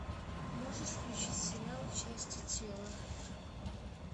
можешь включить сериал части тела